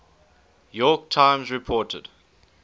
york times reported